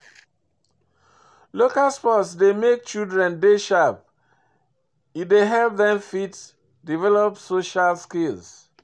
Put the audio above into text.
Local sport dey make children dey sharp, e dey help dem fit develop social skills